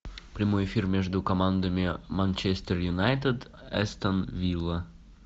прямой эфир между командами манчестер юнайтед астон вилла